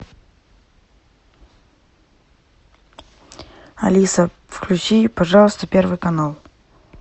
алиса включи пожалуйста первый канал